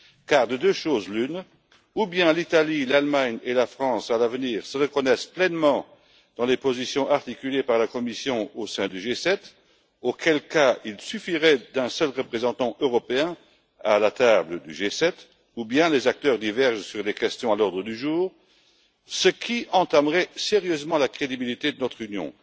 Car de deux choses l'une soit l'Italie, l'Allemagne et la France se reconnaissent pleinement dans les positions articulées par la Commission au sein du G7 à l'avenir auquel cas il suffirait d'un seul représentant européen à cette table soit les acteurs divergent sur des questions à l'ordre du jour, ce qui entamerait sérieusement la crédibilité de notre Union.